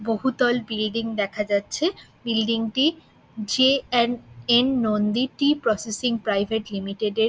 বহুতল বিল্ডিং দেখা যাচ্ছে বিল্ডিং -টি J and N Nandi tea processing private limited -এর।